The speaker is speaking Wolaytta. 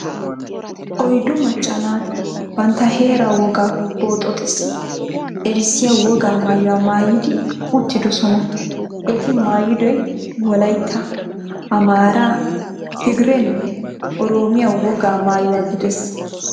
Oyddu macca naati bantta heeraa wogaa boxooxissi erissiya wogaa maayuwa maayidi uttidosona. Eti maayidoy Wolaytta, Amaaraa, Tigreenne Oroomiya wogaa maayuwa gidees.